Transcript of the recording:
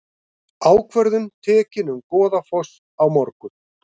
Ákvörðun tekin um Goðafoss á morgun